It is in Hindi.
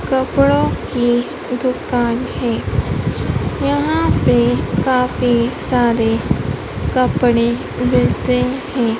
कपड़ो की दुकान है यहां पर काफी सारे कपड़े मिलते हैं।